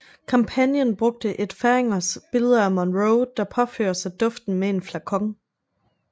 Kampagnen brugte Ed Feringershs billeder af Monroe der påfører sig duften med en flakon